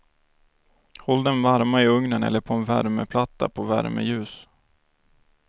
Håll dem varma i ugnen eller på en värmeplatta på värmeljus.